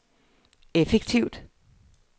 effektivt